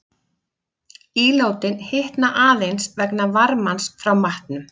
Ílátin hitna aðeins vegna varmans frá matnum.